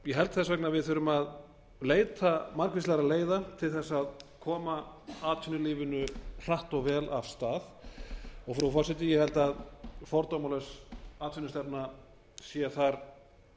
ég held þess vegna að við þurfum að leita margvíslegra leiða til þess að koma atvinnulífinu hratt og vel af stað frú forseti ég held að fordómalaus atvinnustefna sé þar